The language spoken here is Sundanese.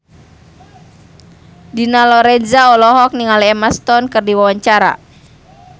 Dina Lorenza olohok ningali Emma Stone keur diwawancara